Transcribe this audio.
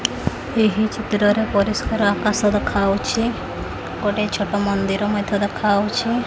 ଏହି ଚିତ୍ରରେ ପରିଷ୍କାର ଆକାଶ ଦେଖାହଉଛି ଗୋଟେ ଛୋଟ ମନ୍ଦିର ମଧ୍ଯ ଦେଖାହଉଛି।